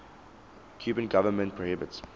cuban government prohibits